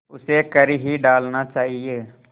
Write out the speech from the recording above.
उसे कर ही डालना चाहिए